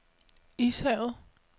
Ishavet